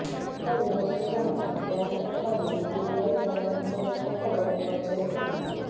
ଉକ୍ତ ବ୍ୟବସାୟୀଜଣକ ବ୍ୟାଙ୍କ ଟଙ୍କା ନେଇ ଦୁବାଇ ପଳାୟନ କରିଥିବା ଖବର ପ୍ରଚାରିତ ହୋଇଥିଲା